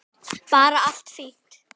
Bara allt fínt.